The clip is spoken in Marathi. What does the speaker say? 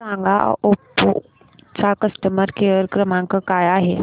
मला सांगा ओप्पो चा कस्टमर केअर क्रमांक काय आहे